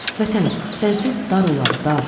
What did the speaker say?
Vətən, sənsiz dar olar, dar.